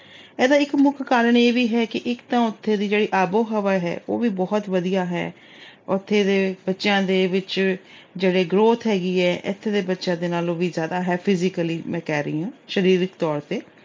ਇਹਦਾ ਇੱਕ ਮੁੱਖ ਕਾਰਨ ਇਹ ਵੀ ਹੈ ਕਿ ਇੱਕ ਤਾਂ ਉੱਥੋਂ ਦੀ ਜਿਹੜੀ ਆਬੋ-ਹਵਾ ਹੈ, ਉਹ ਵੀ ਬਹੁਤ ਵਧੀਆ ਹੈੈ। ਉੱਥੇ ਦੇ ਬੱਚਿਆਂ ਦੇ ਵਿੱਚ ਜਿਹੜੀ growth ਹੈਗੀ ਏ, ਇੱਥੇ ਦੇ ਬੱਚਿਆਂ ਨਾਲੋਂ ਵੀ ਜਿਆਦਾ ਹੈ physically ਮੈਂ ਕਹਿ ਰਹੀ ਆ ਸਰੀਰਕ ਤੌਰ ਤੇ